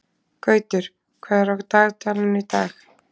Gautur, hvað er á dagatalinu í dag?